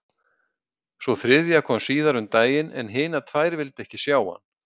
Sú þriðja kom síðar um daginn en hinar tvær vildu ekki sjá hann.